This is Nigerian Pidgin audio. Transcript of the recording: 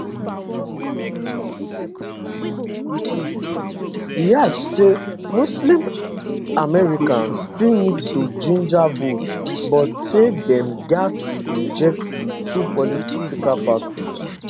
e add say muslim americans still need to ginger vote but say dem gatz reject di two political parties